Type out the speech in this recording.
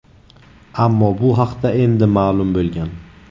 ammo bu haqda endi ma’lum bo‘lgan.